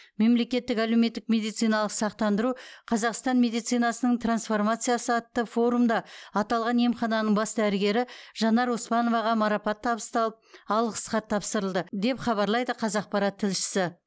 мемлекеттік әлеуметтік медициналық сақтандыру қазақстан медицинасының трансформациясы атты форумда аталған емхананың бас дәрігері жанар оспановаға марапат табысталып алғыс хат тапсырылды деп хабарлайды қазақпарат тілшісі